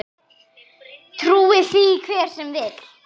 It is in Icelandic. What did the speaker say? Trúi því hver sem vill.